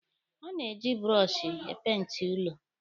A na-eji bụrọshị e peenti ụlọ.